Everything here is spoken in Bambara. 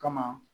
Kama